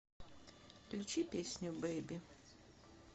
включи песню бэйби